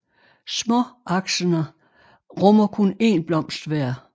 Småaksene rummer kun én blomst hver